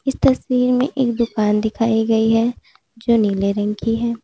तस्वीर में एक दुकान दिखाई गई है जो नीले रंग की है।